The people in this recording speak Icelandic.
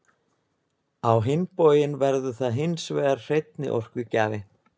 á hinn bóginn verður það hins vegar hreinni orkugjafi